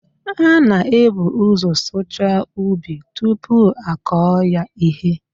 A na-ebu ụzọ sụchaa ubi tupu akọọ ya ihe.